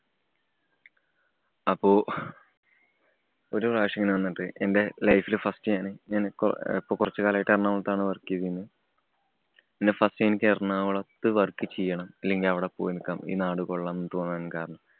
അപ്പൊ ഒരു പ്രാവശ്യം ഇങ്ങനെ വന്നിട്ട് എന്‍റെ life ല് first ഞാന് കൊ~ ഇപ്പൊ കുറച്ചുകാലായിട്ട് എറണാകുളത്താണ് work ചെയ്തിരുന്ന്. പിന്നെ first time എനിക്ക് എറണാകുളത്ത് work ചെയ്യണം അല്ലെങ്കില്‍ അവിടെ പോയി നിക്കണം ഈ നാട് കൊള്ളാം എന്ന് തോന്നാന്‍ കാരണം